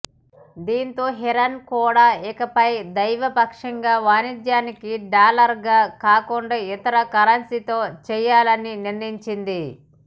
దీనితో ఇరాన్ కూడా ఇకపై ద్వైపాక్షిక వాణిజ్యానికి డాలర్గా కాకుండా ఇతర కరెన్సీలతో చేయాలని నిర్ణయించింది